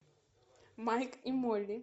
майк и молли